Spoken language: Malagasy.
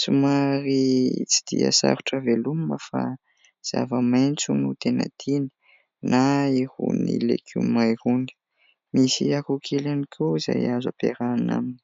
somary tsy dia sarotra velomina fa zava-maitso no tena tiany na irony legioma irony. Misy akohokely ihany koa izay azo ampiarahana aminy.